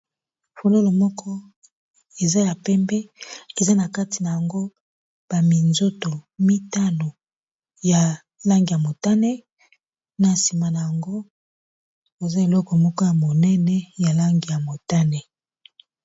fololo moko eza ya pembe eza na kati na yango baminzoto mitano ya langi ya motane na sima na yango eza eloko moko ya monene ya langi ya motane.